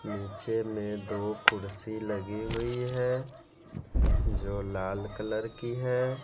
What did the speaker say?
नीचे में दो कुर्सी लगी हुई है जो लाल कलर की है।